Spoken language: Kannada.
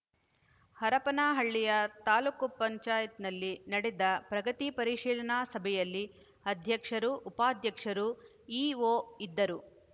ಹರಪನಹಳ್ಳಿಯ ತಾಲೂಕ್ ಪಂಚಾಯತಿನಲ್ಲಿ ನಡೆದ ಪ್ರಗತಿ ಪರಿಶೀಲನಾ ಸಭೆಯಲ್ಲಿ ಅಧ್ಯಕ್ಷರು ಉಪಾಧ್ಯಕ್ಷರು ಇಒ ಇದ್ದರು